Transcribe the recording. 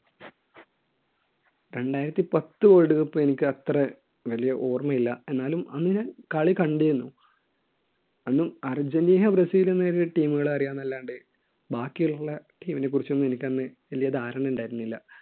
രണ്ടായിരത്തി പത്ത് world cup എനിക്ക് അത്ര വലിയ ഓർമ്മയില്ല എന്നാലും അന്ന് ഞാൻ കളി കണ്ടിരുന്നു അന്ന് അർജൻറീന ബ്രസീൽ എന്ന team കളെ അറിയാം എന്നല്ലാണ്ട് ബാക്കിയുള്ള team നെ കുറിച്ച് ഒന്നും എനിക്ക് അന്ന് വലിയ ധാരണ ഉണ്ടായിരുന്നില്ല.